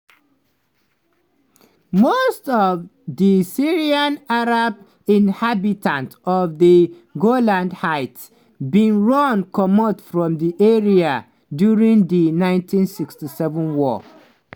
most of di syrian arab inhabitants of di golan heights bin run comot from di area during di 1967 war.